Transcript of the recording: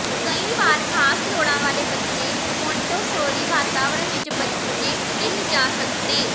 ਕਈ ਵਾਰ ਖ਼ਾਸ ਲੋੜਾਂ ਵਾਲੇ ਬੱਚੇ ਮੌਂਟੇਸੋਰੀ ਵਾਤਾਵਰਣ ਵਿਚ ਬੱਝੇ ਨਹੀਂ ਜਾ ਸਕਦੇ ਹਨ